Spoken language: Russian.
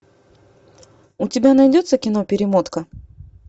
у тебя найдется кино перемотка